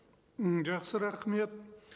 м жақсы рахмет